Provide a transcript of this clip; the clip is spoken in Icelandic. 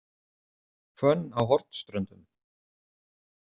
Hvönn á Hornströndum